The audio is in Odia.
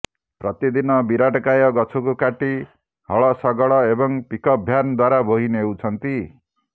ପ୍ରତିଦିନ ବିରାଟକାୟ ଗଛକୁ କାଟି ହଳ ଶଗଡ଼ ଏବଂ ପିକ୍ଅପ୍ ଭ୍ୟାନ୍ ଦ୍ବାରା ବୋହି ନେଉଛନ୍ତି